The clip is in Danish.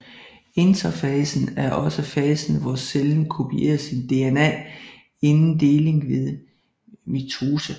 Interfasen er også fasen hvor cellen kopierer sin DNA inden deling ved mitose